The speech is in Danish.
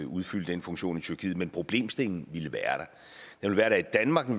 udfylde den funktion i tyrkiet men problemstillingen ville være der her i danmark og